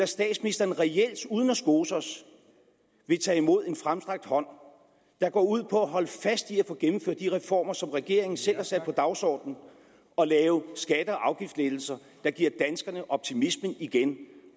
statsministeren reelt uden at skose os vil tage imod en fremstrakt hånd der går ud på at holde fast i at få gennemført de reformer som regeringen selv har sat på dagsordenen og lave skatte og afgiftslettelser der giver danskerne optimismen igen